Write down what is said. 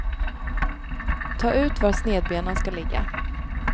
Ta ut var snedbenan ska ligga.